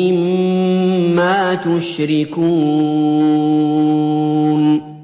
مِّمَّا تُشْرِكُونَ